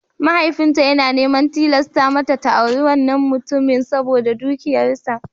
Mahaifinta yana neman tilasta mata ta auri wannan mutumin saboda dukiyarsa.